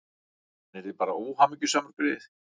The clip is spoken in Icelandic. Hann yrði bara óhamingjusamur, greyið.